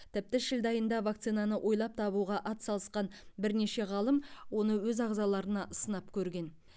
тіпті шілде айында вакцинаны ойлап табуға атсалысқан бірнеше ғалым оны өз ағзаларына сынап көрген